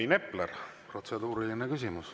Rain Epler, protseduuriline küsimus.